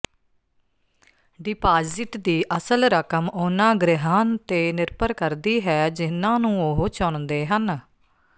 deposit ਦੀ ਅਸਲ ਰਕਮ ਉਨ੍ਹਾਂ ਗ੍ਰਹਿਆਂ ਤੇ ਨਿਰਭਰ ਕਰਦੀ ਹੈ ਜਿਨ੍ਹਾਂ ਨੂੰ ਉਹ ਚੁਣਦੇ ਹਨ